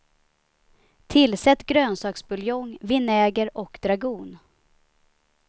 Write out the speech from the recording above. Tillsätt grönsaksbuljong, vinäger och dragon.